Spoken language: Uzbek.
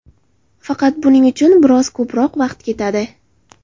Faqat buning uchun biroz ko‘proq vaqt ketadi.